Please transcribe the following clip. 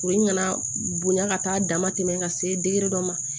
Kuru in nana bonya ka taa a dama tɛmɛ ka se dɔ ma